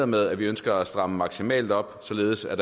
med at vi ønsker at stramme maksimalt op således at